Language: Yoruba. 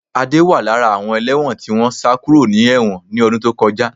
Adé wà lára àwọn ẹlẹ́wọ̀n tí wọ́n sá kúrò ní ẹ̀wọ̀n ni ọdún tó kọjá